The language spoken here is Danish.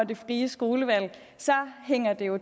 det frie skolevalg hænger det jo